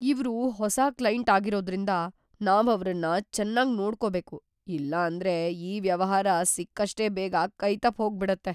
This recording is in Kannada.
ಇವ್ರು ಹೊಸ ಕ್ಲೈಂಟ್ ಆಗಿರೋದ್ರಿಂದ, ನಾವ್‌ ಅವ್ರನ್ನ ಚೆನ್ನಾಗ್‌ ನೋಡ್ಕೊಬೇಕು ಇಲ್ಲಾಂದ್ರೆ ಈ ವ್ಯವಹಾರ ಸಿಕ್ಕಷ್ಟೇ ಬೇಗ ಕೈತಪ್ಪ್‌ ಹೋಗ್ಬಿಡತ್ತೆ.